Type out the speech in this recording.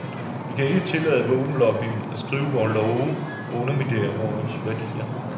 Vi kan ikke tillade våbenlobbyen af skrive vore love og underminere vore værdier.